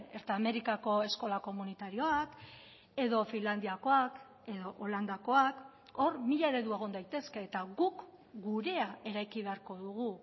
ertamerikako eskola komunitarioak edo finlandiakoak edo holandakoak hor mila eredu egon daitezke eta guk gurea eraiki beharko dugu